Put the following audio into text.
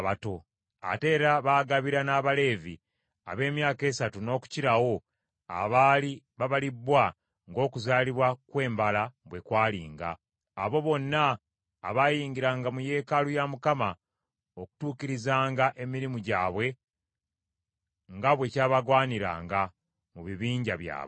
Ate era baagabiranga n’abalenzi ab’emyaka esatu n’okukirawo abaali babalibbwa ng’okuzaalibwa kwe mbala bwe kwalinga, abo bonna abayingiranga mu yeekaalu ya Mukama okutuukirizanga emirimu gyabwe nga bwe kyabagwaniranga, mu bibinja byabwe.